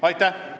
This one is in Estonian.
Aitäh!